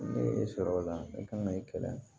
Ne ye sɔrɔ o la ne kan ka i kɛlɛ